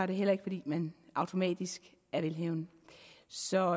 det heller ikke fordi man automatisk er velhavende så